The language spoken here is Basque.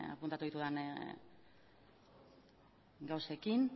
apuntatu dudan gauzekin